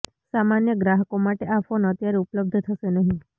સામાન્ય ગ્રાહકો માટે આ ફોન અત્યારે ઉપલબ્ધ થશે નહીં